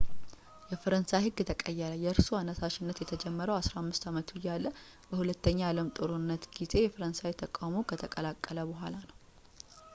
የፈረንሳይ ህግ ተቀየረ የእርሱ አነሳሽነት የተጀመረው 15 አመቱ እያለ በሁለተኛው የአለም ጦርነት ጊዜ የፈረንሳይን ተቃውሞ ከተቀላቀለ በኃላ ነው